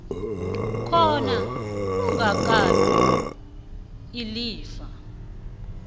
khona angakabi ilifa